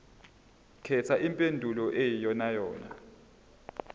khetha impendulo eyiyonayona